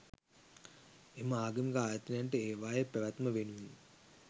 එම ආගමික ආයතනයන්ට ඒවායේ පැවැත්ම වෙනුවෙන්